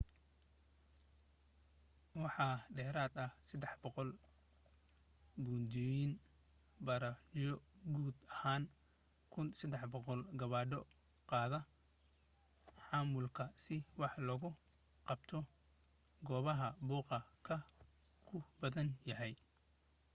waxaa dheerad ah 300 buundoyin/bariijyo guud ahaan 1,300 gawaadhida qaada xamuulka si wax loogu qabto goobaha buuqa ku badan yahay